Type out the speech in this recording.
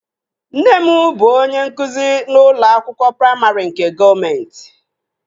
Nne m bụ onye nkụzi n'ụlọ akwụkwọ praimarị nke gọọmenti